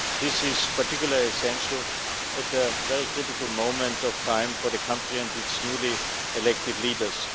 This is particularly essential at a very critical moment in time for the country and its newly elected leaders.